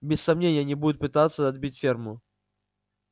без сомнения они будут пытаться отбить ферму